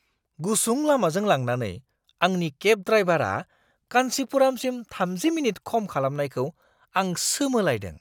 गुसुं लामाजों लांनानै आंनि केब ड्रायभारा कान्चीपुरमसिम 30 मिनिट खम खालामनायखौ आं सोमोलायदों!